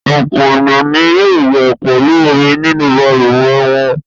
Ọ̀pọ̀ ènìyàn ni yóò wẹ̀ pẹ̀lú omi nínú balùwẹ̀ wọn.